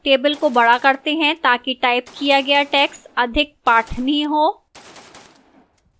table को बढ़ा करते हैं ताकि टाइप किया गया text अधिक पठनीय हो